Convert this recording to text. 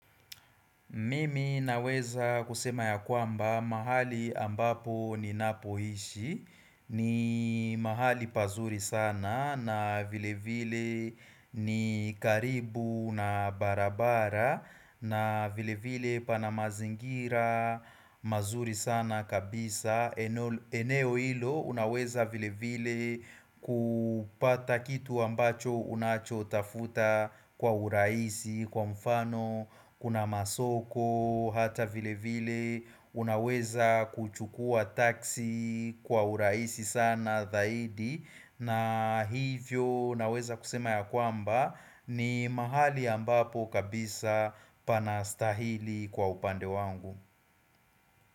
Mimi naweza kusema ya kwamba mahali ambapo ninapohishi ni mahali pazuri sana na vile vile ni karibu na barabara na vile vile pana mazingira mazuri sana kabisa eneo hilo unaweza vile vile kupata kitu ambacho unacho tafuta kwa urahisi Kwa mfano kuna masoko hata vile vile unaweza kuchukua taksi kwa urahisi sana dhaidi na hivyo naweza kusema ya kwamba ni mahali ambapo kabisa panastahili kwa upande wangu.